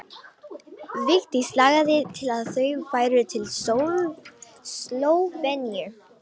Vigdís lagði til að þau færu til Slóveníu.